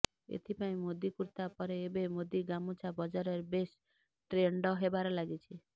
ଏଥିପାଇଁ ମୋଦୀ କୁର୍ତ୍ତା ପରେ ଏବେ ମୋଦୀ ଗାମୁଛା ବଜାରରେ ବେଶ୍ ଟ୍ରେଣ୍ଡ ହେବାରେ ଲାଗିଛି